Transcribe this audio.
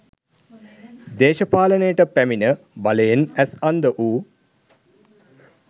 දේශපාලනයට පැමිණ බලයෙන් ඇස් අන්ධ වූ